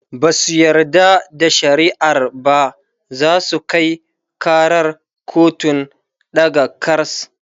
Basu yarda da shari'ar ba zasu Kai karar kotun ɗaga kars